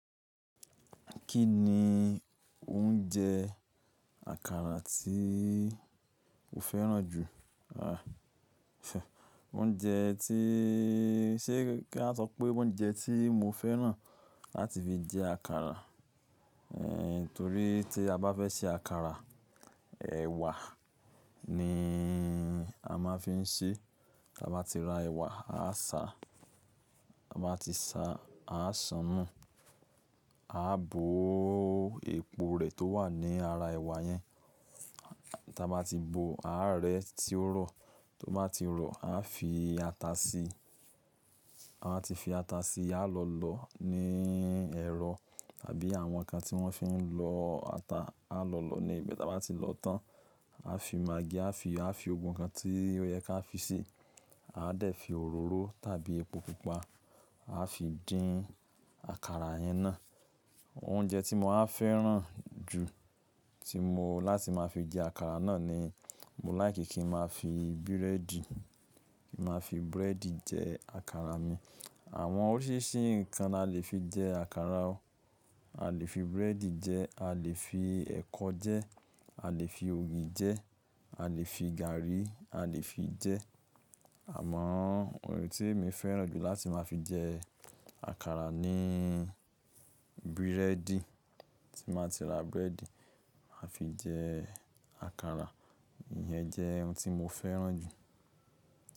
Kí ni oúnjẹ àkàrà tí o fẹ́ràn jù? Àh fẹ̀, oúnjẹ tíí, ṣé kí a sọ pé oúnjẹ tí mo fẹ́ràn láti fi jẹ àkàrà? Ehn, torí tí a bá fẹ́ ṣe àkàrà, ẹ̀wà ni a máa ń fi ń ṣe. Tí a bá ti ra ẹ̀wà, a sáa, ta báa ti sa, a san nu, a bó epo rẹ̀ tó wà ní ara ẹ̀wà yẹn. Tí a bá ti bòó, a rẹ́ tí ó rọ̀, tí ó bá ti rọ̀, a fi ata sí i. A máa ti fi ata sí i, a lọ̀ lọ ní ẹ̀rọ tàbí àwọn ǹkan tí wọ́n fi ń lọ ata, a lọ̀ lọ ní ibẹ̀. Tí a bá ti lọ tán, a fi maggi, a fi, a fi gbogbo nǹkan tí ó yẹ ká fi sí i. A dẹ̀ fi òróró tàbí epo pupa, a fi dín àkàrà yẹn náà. Oúnjẹ tí mo máa ń fẹ́ràn jù tí mo, láti máa fi jẹ àkàrà náà ni mo láìkí kí ń máa fi búrẹ́dì, kí ń máa fi búrẹ́dì jẹ àkàrà mi. Àwọn oríṣiríṣi nǹkan la le fi jẹ àkàrà o. A lè fi búrẹ́dì jẹ, a lè fi ẹ̀kọ jẹ, a lè fi ògì jẹ, a lè fi gàrí, a lè fi jẹ. Àmọ ohun tí mi fẹ́ràn jù láti máa fi jẹ àkàrà ni búrẹ́dì. Tí mo bá ti ra búrẹ́dì, màá fi jẹ àkàrà. Ìyẹn jẹ́ ohun tí mo fẹ́ràn jù.